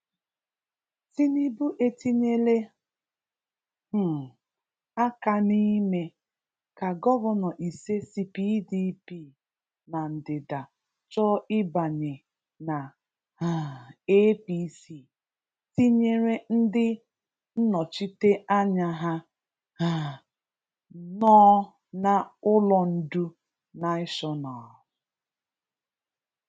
Tinubu etinyela um aka n’ime ka gọvanọ ise si PDP na ndịda chọọ ịbanye na um APC, tinyere ndị nnọchiteanya ha um nọ na Ụlọ Ndu Naịshọnal.